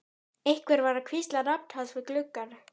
Einhver var að hvísla nafn hans við gluggann.